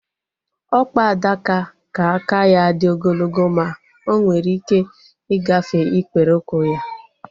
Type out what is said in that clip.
Ọkpa adaka ka aka ya dị ogologo ma onwere ike ịgafe ikpere ụkwụ ya